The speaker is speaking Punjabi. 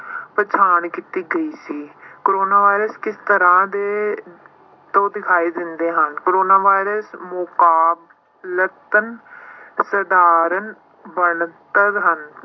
ਪਛਾਣ ਕੀਤੀ ਗਈ ਸੀ ਕੋਰੋਨਾ ਵਾਇਰਸ ਕਿਸ ਤਰ੍ਹਾਂ ਦੇ ਉਹ ਦਿਖਾਈ ਦਿੰਦੇ ਹਨ ਕੋਰੋਨਾ ਵਾਇਰਸ ਮੁਕਾਬਲਤਨ ਸਧਾਰਨ ਹਨ